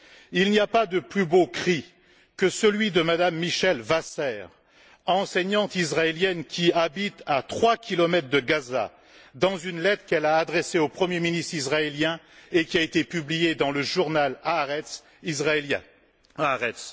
Il n'y a pas de plus beau cri que celui de Mme Mihal Wasser, enseignante israélienne qui habite à trois kilomètres de Gaza, dans une lettre qu'elle a adressée au Premier ministre israélien, et qui a été publiée dans le journal israélien Haaretz